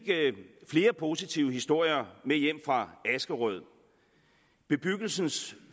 flere positive historier med hjem fra askerød bebyggelsens